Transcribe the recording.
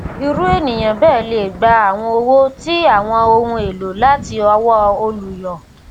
irú ènìyàn bẹẹ lè gba àwọn owó ti àwọn ohun èlò láti ọwọ olùyọ